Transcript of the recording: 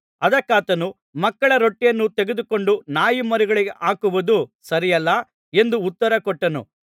ಅದಕ್ಕಾತನು ಮಕ್ಕಳ ರೊಟ್ಟಿಯನ್ನು ತೆಗೆದುಕೊಂಡು ನಾಯಿಮರಿಗಳಿಗೆ ಹಾಕುವುದು ಸರಿಯಲ್ಲ ಎಂದು ಉತ್ತರಕೊಟ್ಟನು